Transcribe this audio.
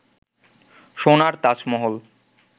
সোনার তাজমহল